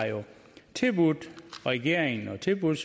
tilbudt regeringen og tilbudt